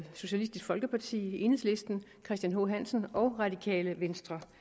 socialistisk folkeparti enhedslisten christian h hansen og radikale venstre